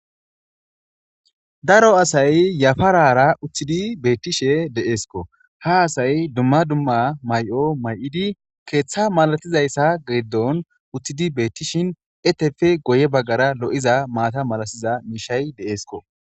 Daro asay yafarara uttidi beetishe de'esko; ha asay dumma dumma may'o may'idi keeththa malatizaysa giddon uttidi beetishin eteppe guye bagaara lo'iza maata malasiza miishshay de'esko.